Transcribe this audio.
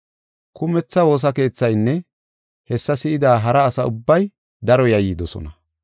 Kumetha woosa keethaynne hessa si7ida hara asa ubbay daro yayyidosona.